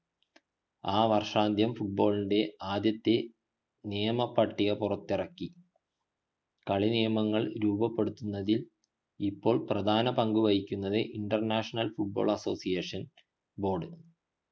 ആ വർഷാന്ത്യം football ൻ്റെ ആദ്യത്തെ നിയം പട്ടിക പുറത്തിറക്കി കളിനിയമങ്ങൾ രൂപപ്പെടുത്തുന്നതിൽ ഇപ്പോൾ പ്രധാന പങ്കു വഹിക്കുന്നത് international football association board